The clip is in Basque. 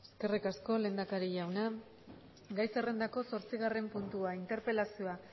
eskerrik asko lehendakari jauna gai zerrendako zortzigarren puntua interpelazioa